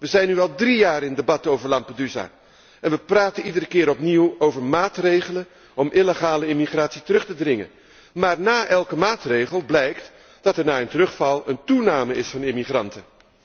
Wij zijn nu al drie jaar in debat over Lampedusa en wij praten iedere keer opnieuw over maatregelen om illegale immigratie terug te dringen. Maar na elke maatregel blijkt dat er, na een terugval, een toename is van immigranten.